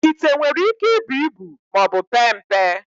Ite nwere íké ibu ibu maọbụ pee mpe.